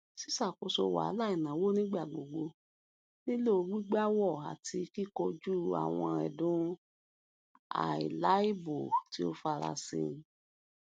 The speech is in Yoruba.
ṣíṣàkóso wahalà ìnáwó nigbagbogbo nílò gbígbàwọ àti kíkọjú àwọn ẹdùn àìláìbọ tí ó farasí